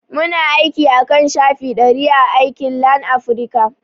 Muna aiki akan shafi ɗari a aikin Lanafrica